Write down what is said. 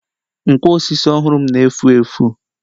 Nkwo osisi ọhụrụ m na-efu efu.